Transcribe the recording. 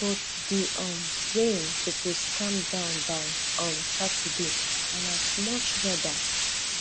but di um rain suppose calm down by um saturday and a much weather